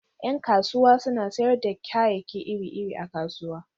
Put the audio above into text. Yan kasuwa suna sayar da kayayyaki iri-iri a kasuwa.